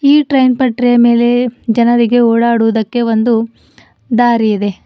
ಈ ಟ್ರೈನ್ ಪಟ್ರಿ ಮೇಲೆ ಜನರಿಗೆ ಓಡಾಡುವುದಕ್ಕೆ ಒಂದು ದಾರಿ ಇದೆ.